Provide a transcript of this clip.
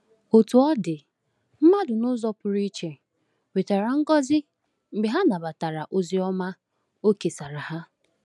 Otú ọ dị, mmadụ n’ụzọ pụrụ iche nwetara ngọzi mgbe ha nabatara ozi ọma o kesara ha.